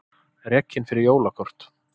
Rekinn fyrir jólakort